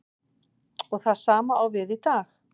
Og það sama á við í dag.